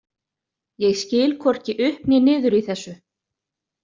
Ég skil hvorki upp né niður í þessu.